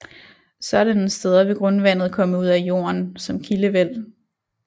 Sådanne steder vil grundvandet komme ud af jorden som kildevæld